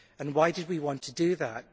Why did we want to do that?